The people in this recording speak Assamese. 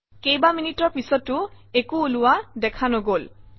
কেইবামিনিটৰ পিছতো একো ওলোৱা দেখা নগল